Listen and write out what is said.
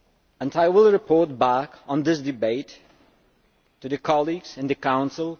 and I will report back on this debate to my colleagues in the Council.